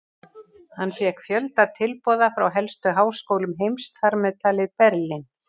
Hann fékk fjölda tilboða frá helstu háskólum heims, þar með talið Berlín.